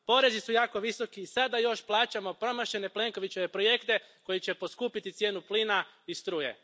Porezi su jako visoki i sad da još plaćamo promašene Plenkovićeve projekte koji će poskupiti cijenu plina i struje.